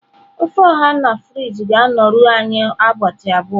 ofe oha na fridge ga-anọru anyị ụbọchị abụọ.